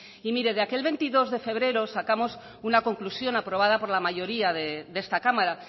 y mire de aquel veintidós de febrero sacamos una conclusión aprobada por la mayoría de esta cámara